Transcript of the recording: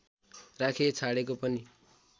राखिछाडेको पनि